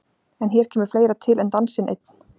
En hér kemur fleira til en dansinn einn.